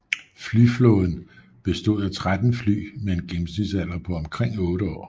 Flyflåden bestod af 13 fly med en gennemsnitsalder på omkring 8 år